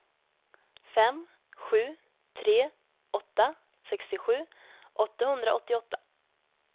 fem sju tre åtta sextiosju åttahundraåttioåtta